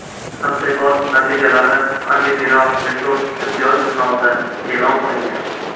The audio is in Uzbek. Tadqiqot natijalari Antiviral Research tibbiyot jurnalida e’lon qilingan .